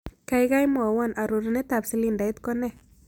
Kaigai mwawon arorunetap silindait ko nee